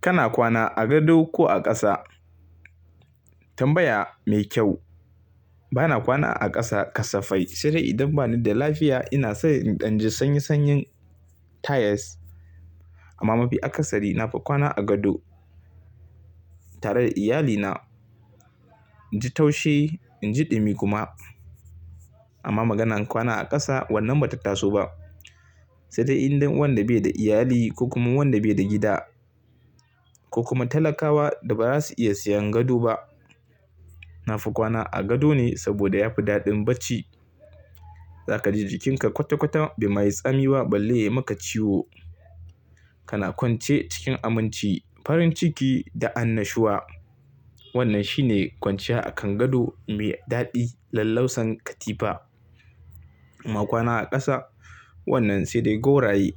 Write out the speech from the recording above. Kana kwana a gado ko a ƙasa? Tambaya me kyau. Bana kwana a ƙasa kasafai, sai dai idan bani da lafiya ina son in ɗan ji sanyin-sanyin tiles. Amma mafi akasari nafi kwana a gado tare da iyalina. In ji taushi, in ji ɗumi kuma. Amma maganan kwana a ƙasa wannan ba ta taso ba. Sai dai in dan wanda bai da iyali ko kuma wanda bai da gida. Ko kuma talakawa da ba za su iya siyan gado ba. Nafi kwana a gado ne saboda yafi daɗin bacci. Za ka ji jikinka kwata-kwata bai mayi tsami ba balle yai maka ciwo. Kana kwance cikin aminci, farin ciki da annashuwa. Wannan shine kwanciya akan gado mai daɗi lallausan katifa. Amma kwana a ƙasa wannan sai dai gauraye.